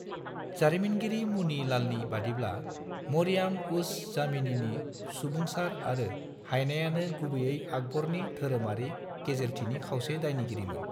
जारिमिनगिरि मुनि लालनि बादिब्ला, 'मरियाम-उज-जमानीनि सुबुंसार आरो हाइनायानो गुबैयै आकबरनि धोरोमारि गेजेरथिनि खावसे दायनिगिरिमोन।'